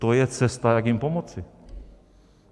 To je cesta, jak jim pomoci.